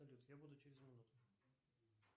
салют я буду через минуту